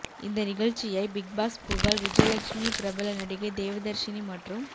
இந்த நிகழ்ச்சியை big boss புகழ் விஜயலக்ஷ்மி பிரபல நடிகை தேவதர்ஷினி மற்றும்